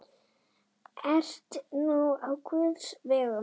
Ert nú á guðs vegum.